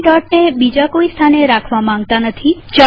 આપણે દોટને બીજા કોઈ સ્થાને રાખવા માંગતા નથી